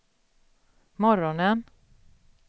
morgonen